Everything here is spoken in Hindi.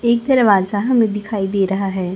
एक दरवाजा हमे दिखाई दे रहा है।